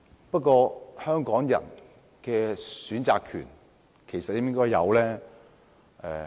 不過，香港人應否有選擇權？